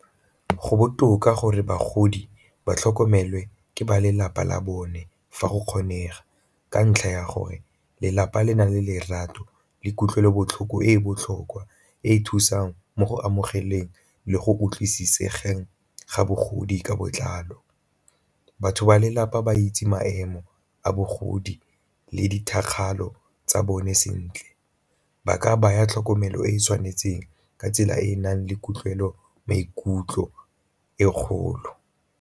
Go botoka gore bagodi ba tlhokomelwe ke ba lelapa la bone fa go kgonega, ka ntlha ya gore lelapa le na le lerato le kutlwelobotlhoko e e botlhokwa e e thusang mo go amogeleng le go utlwisisegeng ga bogodi ka botlalo. Batho ba lelapa ba itse maemo a bogodi le tsa bone sentle, ba ka baya tlhokomelo e e tshwanetseng ka tsela e e nang le kutlwelo maikutlo e kgolo.